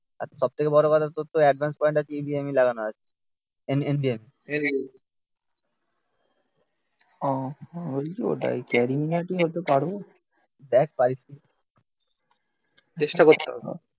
আর সব থেকে বড় কথা তোর তো অ্যাডভান্স পয়েন্ট টা কি NVME লাগানো আছে? ও ওই যে ওটাই. ক্যারিমিনাটি হতে পারবো দেখ পারিস কি চেষ্টা করতে হবে